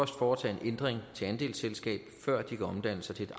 foretage en ændring til andelsselskab før de kan omdanne sig til